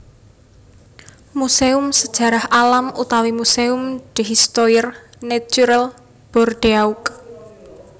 Muséum Sajarah Alam utawi Muséum d Histoire Naturelle Bordeaux